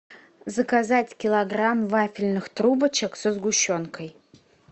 заказать килограмм вафельных трубочек со сгущенкой